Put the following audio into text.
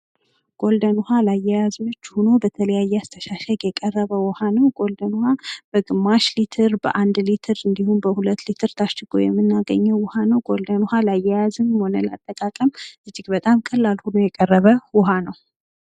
ጎልደን ውሃ ለአያያዝ ምቹ ሁኖ ለተለያየ አስተሻሸግ የቀረበ ውሃ ነው ጎልደን ውሃ በግማሽ ሊትር በአንድ ሊትር እንድሁም በሁለት ሊትር ታሽጎ የምናገኘው ውሃ ነው። ጎልደን ውሃ ለአያያዝም ሆነ ለአጠቃቀም እጅግ በጣም ቀላል ሁኖ የቀረበ ውሃ ነው።